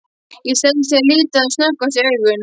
Ég stelst til að líta rétt sem snöggvast í augun.